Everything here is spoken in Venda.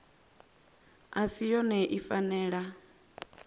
i si yone i fanela